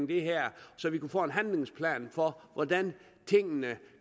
det her så vi kan få en handlingsplan for hvordan tingene